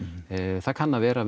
það kann að vera að við